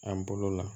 An bolo la